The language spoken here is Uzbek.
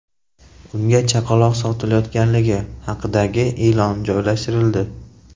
Unga chaqaloq sotilayotganligi haqidagi e’lon joylashtirildi.